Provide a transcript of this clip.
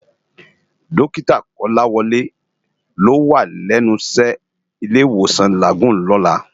Dòkitá Kolawole ló wá lènú iṣè ni Ilé Iwósán Lágúùn lòlá